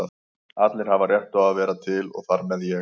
Allir hafa rétt á að vera til og þar með ég.